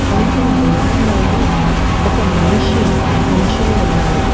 కొంచెం దూరంలోని ఒక మనిషి నిల్చని ఉన్నాడు.